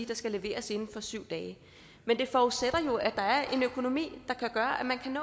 der skal leveres inden for syv dage men det forudsætter jo at der er en økonomi der kan gøre at man kan